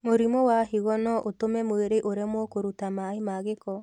Mũrimũ wa higo noũtũme mwĩrĩ ũremwo kũruta maaĩ ma gĩko